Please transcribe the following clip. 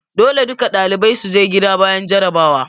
Dole duka ɗalibai su je gida bayan jarrabawa!